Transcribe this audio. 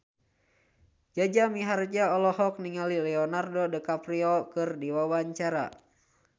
Jaja Mihardja olohok ningali Leonardo DiCaprio keur diwawancara